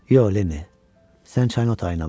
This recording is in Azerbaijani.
Yox, Lenni, sən çayın otayına bax.